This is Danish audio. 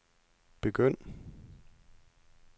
begynd